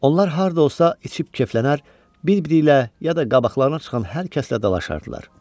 Onlar harda olsa içib keflənər, bir-biriylə ya da qabaqlarına çıxan hər kəslə dalaşardılar.